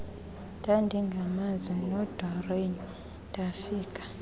ndandingamazi lodoreen ndafika